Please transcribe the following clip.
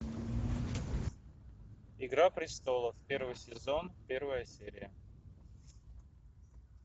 игра престолов первый сезон первая серия